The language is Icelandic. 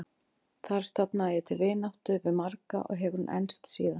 Þar stofnaði ég til vináttu við marga og hefur hún enst síðan.